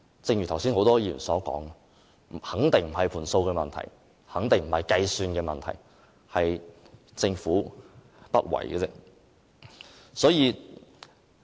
正如剛才很多議員所說，肯定不是"盤數"的問題，肯定不是計算的問題，而是政府不為。